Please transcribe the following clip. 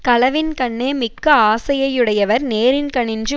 களவின்கண்ணே மிக்க ஆசையையுடையவர் நேரின்கணின்று